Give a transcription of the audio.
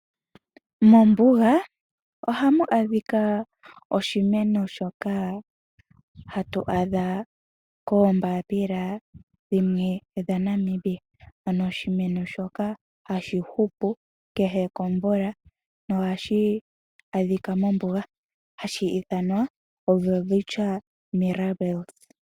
Mombuga ohamu adhika oshimeno shoka hatu adha koombapila dhimwe dhaNamibia, ano oshimeno shoka hashi hupu kehe komvula nohashi adhika mobuga hashi ithanwa "Welwitschia mirabilis".